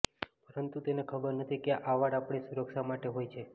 પરંતુ તેને ખબર નથી કે આ વાળ આપણી સુરક્ષા માટે હોઈ છે